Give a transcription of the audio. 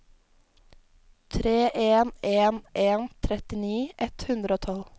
tre en en en trettini ett hundre og tolv